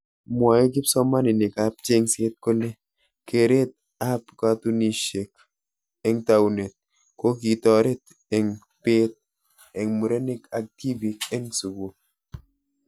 Mwae kipsomaninik ab chengset kole keret ab katunishek eng taunet kokitoret eng beet eng murenik ak tibik eng sukul.